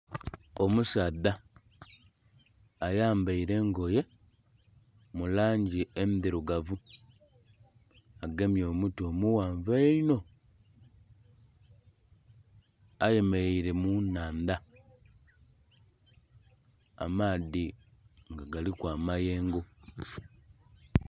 Omusaadha ayambaire engoye mu langi endhirugavu agemye omuti omughanvu eiinho, ayemereire mu nhandha amaadhi nga galiku amayengo.